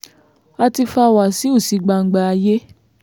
a ti fa wáṣíù sí gbangba ayé